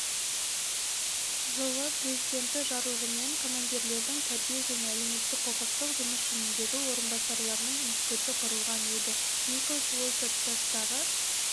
жылы президенті жарлығымен командирлердің тәрбие және әлеуметтік-құқықтық жұмыс жөніндегі орынбасарларының институты құрылған еді николас уолтерс жастағы